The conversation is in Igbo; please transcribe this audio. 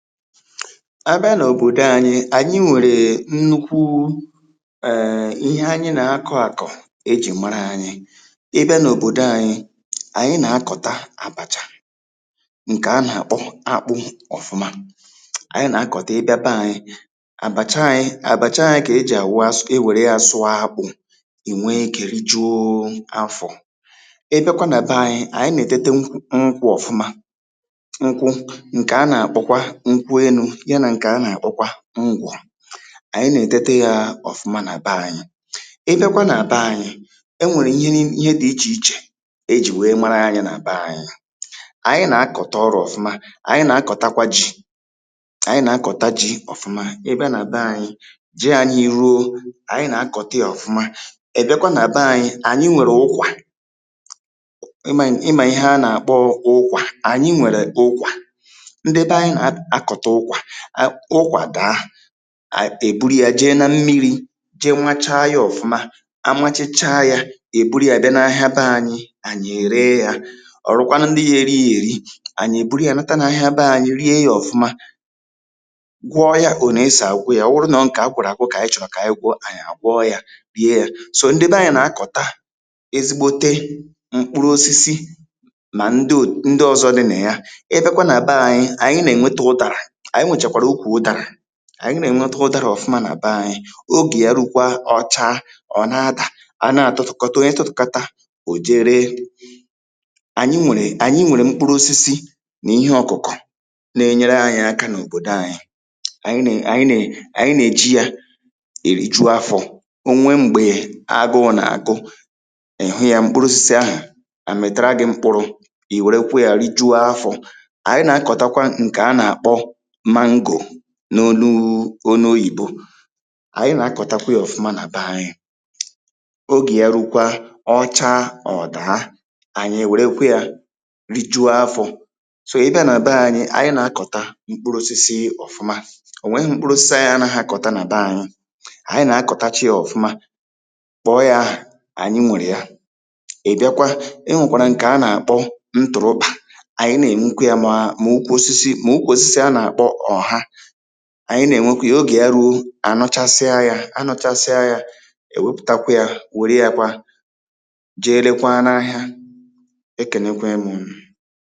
a bịa n’òbòdo ānyị̄, ànyị e nwèrè nnukwuu ee ihe anyi nà-akọ̄ àkọ̀ ejì mara ānyị̄ ị bịa n’òbòdo ānyị̄, ànyị nà-akọ̀ta àbàchà ǹkè a nà-àkpọ akpụ ọ̀fụma ànyị nà-akọ̀ta ị bịa be ānyị̄ àbàcha ānyị̄, àbàcha ānyị̄ kà ejì àwụ e wère yā sụọ akpụ̄ ì wee ikē rijuoo afọ̄ ị bịakwa nà be ānyị̄, ànyị nà-ètete nkw nkwụ̄ ọ̀fụma nkwụ ǹkè a nà-àkpọkwa nkwụ enū ya nà ǹkè a nà-àkpọkwa ngwọ̀ ànyị nà-ètete yā ọ̀fụma nà be ānyị̄, ị bịakwa nà be ānyị̄ e nwèrè ihe ni ihe dị̄ ichè ichè ejì wèe mara ānyị̄ nà be ānyị̄ ànyị nà-akọ̀ta ọrụ̄ ọ̀fụma, ànyị nà-akọ̀takwa jī ànyị nà-akọ̀ta jī ọ̀fụma, ị bịa nà be ānyị̄ ji ānyị̄ ruo, ànyị nà-akọ̀ta yā ọ̀fụma, ị bịakwa nà be ānyị̄, ànyị̇ nwèrè ụkwà ị mà ị mà ihe a nà-àkpọ ụkwà, ànyị nwèrè ụkwà ndị be anyị nà a-akọ̀ta ụkwà, à ụkwà dàa à è buru yā jee na mmirī je machaa yā ọ̀fụma a machachaa yā è buru yā bịa n’ahịa be ānyị̄, ànyị è ree yā họ̀rụkwanụ ndị ya-eri yā èri ànyị è buru yā nata n’ahịa be ānyị̄ rie yā ọ̄fụma gwọọ yā ònè esì àgwọ yā, ọ wụrụ nọọ ǹkè agwọ̀rọ̀ àgwọ kà ànyị chọ̀rọ̀ kà ànyị gwọ, ànyi̇ àgwọọ yā rie yā, sò ndị be ānyị̄ nà-akọ̀ta ezigbote mkpụrụ osisi mà ndo ndị ọ̄zọ̄ dị nà ya, ị bịakwa nà be ānyị̄, ànyị nà-ènwete ụdārà, ànyị nwèchàkwàrà ukwù ụdārà ànyị nà-ènwete ụdarà ọ̀fụma nà be ānyị̄ ogè ya rukwaa, ọ chaa ọ̀ na-adà, à na-àtụtụ̀kọta, onye tụtụ̀kata ò je ree ànyị nwèrè mkpụrụ osisi nà ihe ọ̀kụ̀kọ̀ na-enyere ānyị̄ aka n’òbòdo ānyị̄ ànyị nè ànyị nè ànyị̇ nà-èji yā èriju afọ̄, o nwee m̀gbè agụụ̄ nà-àgụ ị̀ hụ yā mkpụrụ osisi ahụ̀ àmị̀tara gị̄ mkpụrụ̄ ì wèrekwe yā rijuo afọ̄ ànyị nà-akọ̀takwa ǹkè a nà-àkpọ mango n’oluu n’onu oyìbo ànyị nà-akọ̀takwa yā ọ̀fụma nà be ānyị̄ ogè ya rukwaa, ọ chaa, ọ̀ dàa ànyị è wèrekwe yā rijuo afọ̄ sò, ị bịa nà be ānyị̄, ànyị nà-akọ̀ta mkpụrụ osisi ọ̀fụma ò nweghị̄ mkpụrụ osisi ànyị anaghị̄ akọ̀ta nà be ānyị̄ ànyị nà-akọ̀tacha yā ọ̀fụma kpọ̀ọ yā ahà, ànyị nwèrè ya ị̀ bịakwa e nwèkwàrà ǹkè a nà-àkpọ ntụ̀rụkpà ànyị nà-ènwekwe yā mà mà ukwu osisi, mà ukwù osisi a nà-àkpọ ọ̀ha ànyị nà-ènwekwe yā ogè ya ruo ànọchasịa yā, anọchasịa yā è wepụ̀takwa yā wère yā kwa jee rekwa n’ahịa e kènekwee m̄ unù